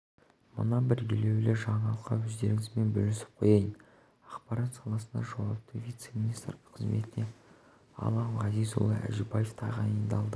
мына бір елеулі жаңалықты өздеріңізбен бөлісіп қояйын ақпарат саласына жауапты вице-министр қызметіне алан ғазизұлы әжібаев тағайындалды